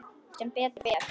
Sem betur fer?